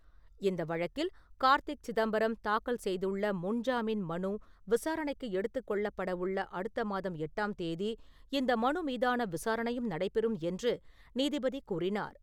இந்த வழக்கில் கார்த்திக் சிதம்பரம் தாக்கல் செய்துள்ள முன்ஜாமீன் மனு விசாரணைக்கு எடுத்துக் கொள்ளப்படவுள்ள அடுத்த மாதம் எட்டாம் தேதி இந்த மனு மீதான விசாரணையும் நடைபெறும் என்று நீதிபதி கூறினார்.